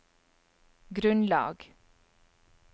grunnlag